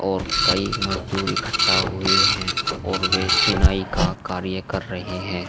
और कई मजदूर इकट्ठा हुए हैं और वे चिनाई का कार्य कर रहे हैं।